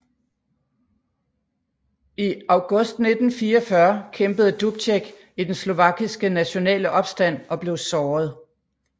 I august 1944 kæmpede Dubček i den slovakiske nationale opstand og blev såret